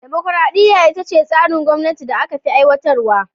Dimukraɗiya ita ce tsarin gwamnati da aka fi aiwatar wa.